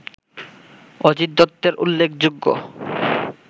অজিত দত্তের উল্লেখযোগ্য